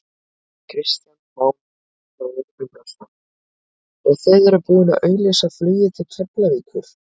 Kristján Már Unnarsson: Og þið eruð búinn að auglýsa flugið til Keflavíkur?